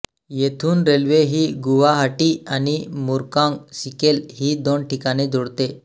येथून रेल्वे ही गुवाहाटी आणि मुरकॉंग सिलेक ही दोन ठिकाणे जोडते